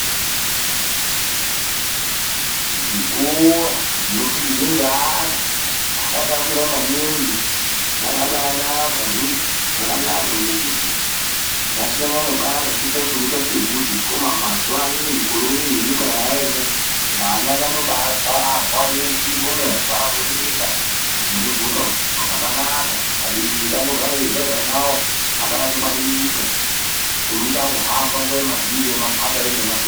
Zvikora zvinofundirwa ngeana asati akura maningi zvakabaanaka, zvasiyana kare ngokuti unofundira pasi pebvute asi mazuva anawa ngenyika kwayaenda vana vanobatwarwa veshe ngomovha voenda nekudzoka zvakanaka. Abereki vanogara vachiziva kuti ana avo akangwaririka kune kuti angohamba nguva yemabhinya neyemakhaba ineiyi